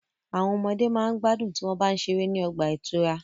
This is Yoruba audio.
Àwọn ọmọde ma gbádùn tí wọ́n bá ń ṣeré ní ọgbà ìtura.